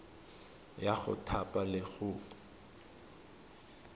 ya go thapa le go